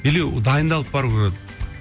или дайындалып бару керек